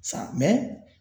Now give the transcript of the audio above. Sa